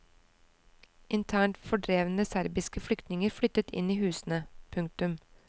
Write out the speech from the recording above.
Internt fordrevne serbiske flyktninger flyttet inn i husene. punktum